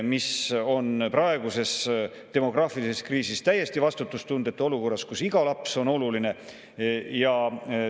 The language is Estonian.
See on praeguses demograafilises kriisis – olukorras, kus iga laps on oluline – täiesti vastutustundetu.